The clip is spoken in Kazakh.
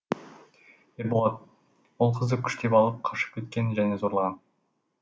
ерболат ол қызды күштеп алып қашып кеткен және зорлаған